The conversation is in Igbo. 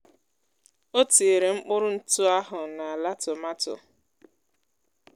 Ọtinyere mkpụrụ ntụ áhù na àlá tòmátò